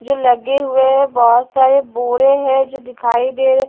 जो लगे हुए हैं बहुत सारे बोरे हैं जो दिखाई दे रहे --